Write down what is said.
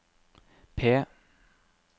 P